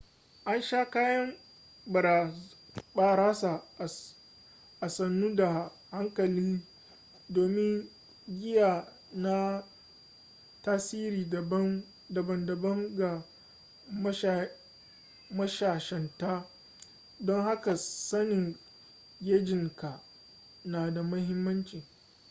a sha kayan barasa a sannu da hankali domin giya na tasiri daban daban ga mashayanta don haka sanin gejinka na da mahimmanci